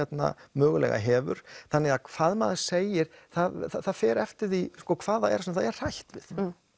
mögulega hefur þannig að hvað maður segir það fer eftir því hvað það er það er hrætt við